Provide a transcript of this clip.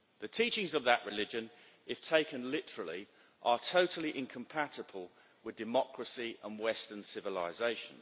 The teachings of that religion, if taken literally, are totally incompatible with democracy and Western civilisation.